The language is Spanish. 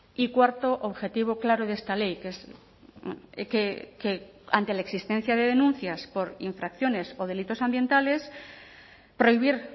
y cuarto objetivo claro de esta ley que es que ante la existencia de denuncias por infracciones o delitos ambientales prohibir